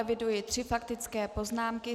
Eviduji tři faktické poznámky.